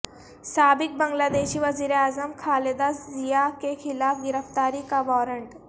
سابق بنگلہ دیشی وزیراعظم خالدہ ضیاء کے خلاف گرفتاری کا وارنٹ